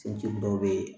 Cɛncɛn dɔw be ye